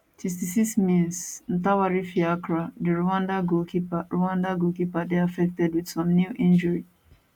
66mins ntwari fiacre di rwanda goalkeeper rwanda goalkeeper dey affected wit some kneel injury